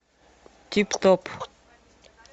тип топ